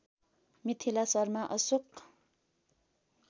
Mithila Sharma Ashok